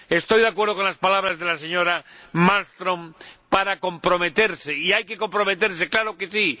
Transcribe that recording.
Estoy de acuerdo con las palabras de la señora Malmström respecto a comprometerse y hay que comprometerse, ¡claro que sí!